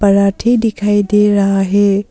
पराठे दिखाई दे रहा है।